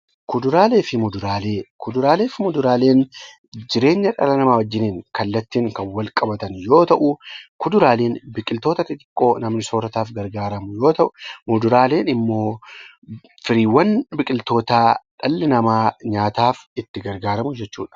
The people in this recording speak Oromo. Kuduraalee fi muduraaleen jireenya dhala namaa wajjin kallattiin kan walqabatan yoo ta'u, kuduraaleen biqiltoota xixiqqoo namni soorataaf gargaaramu yoo ta'u, muduraaleen immoo sanyiiwwan biqiltoota dhalli namaa nyaataaf itti gargaaramu jechuudha.